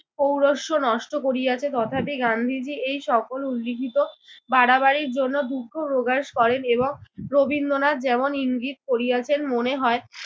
পৌরষ্য নষ্ট করিয়াছে।” তথাপি গান্ধীজি এই সকল উজ্জীবিত বাড়াবাড়ির জন্য দুঃখ প্রকাশ করেন এবং রবীন্দ্রনাথ যেমন ইঙ্গিত করিয়াছেন মনে হয়